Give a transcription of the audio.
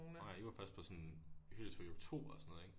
Nåh ja I var først på sådan hyttetur i oktober og sådan noget ik